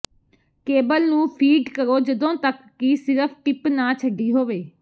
cable ਨੂੰ feed ਕਰੋ ਜਦੋਂ ਤੱਕ ਕਿ ਸਿਰਫ ਟਿਪ ਨਾ ਛੱਡੀ ਹੋਵੇ